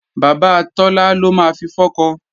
Bàbá Tọ́lá ló máa fi fọ́kọ